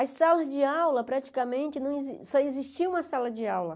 As salas de aula, praticamente, não exis só existia uma sala de aula.